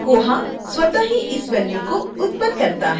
koha स्वत: ही इस value को उत्पन्न करता है